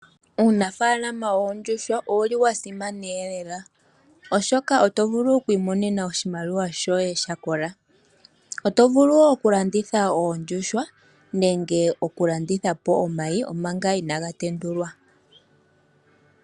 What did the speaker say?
Uunafaalama woondjuhwa owuli wasimana lela, oshoka oto vulu okwiimona oshimaliwa shoye shakola. Oto vulu woo okulanditha oondjuhwa nenge okulanditha po omayi manga inaga tendulwa.